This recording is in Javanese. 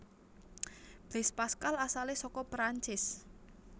Blaise Pascal asalé saka Prancis